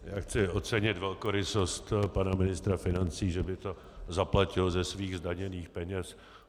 Já chci ocenit velkorysost pana ministra financí, že by to zaplatil ze svých zdaněných peněz.